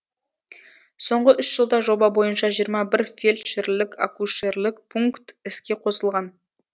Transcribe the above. соңғы үш жылда жоба бойынша жиырма бір фельдшерлік акушерлік пункт іске қосылған